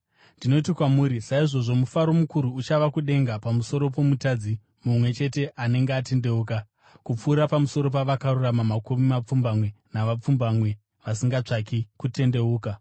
Ndinoti kwamuri, saizvozvo mufaro mukuru uchava kudenga pamusoro pomutadzi mumwe chete anenge atendeuka, kupfuura pamusoro pavakarurama makumi mapfumbamwe navapfumbamwe vasingatsvaki kutendeuka.